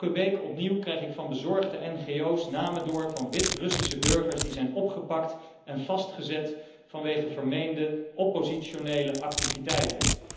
Elke week opnieuw krijg ik van bezorgde ngo's namen door van Wit Russische burgers die zijn opgepakt en vastgezet vanwege vermeende oppositionele activiteiten.